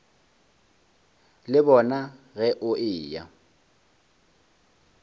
le bona ge o eya